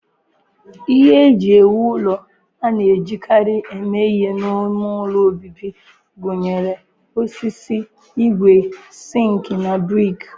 Ihe eji ewu ụlọ a na-ejikarị eme ihe n'ime ụlọ obibi gụnyere osisi, ígwè, sink na brik